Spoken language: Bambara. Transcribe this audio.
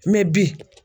Mɛ bi